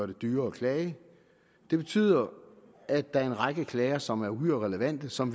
det dyrere at klage det betyder at der er en række klager som er uhyre relevante og som